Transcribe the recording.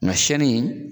Nka sɛnni